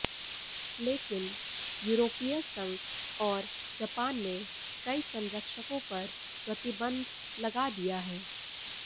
लेकिन यूरोपीय संघ और जापान ने कई संरक्षकों पर प्रतिबंध लगा दिया है